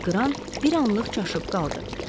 Qran bir anlıq çaşıb qaldı.